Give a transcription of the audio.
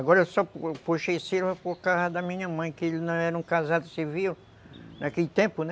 Agora eu só puxei esse nome por causa da minha mãe, que não era um casado civil naquele tempo, né?